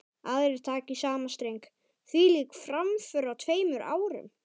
Aðrir taka í sama streng: Hvílík framför á tveimur árum.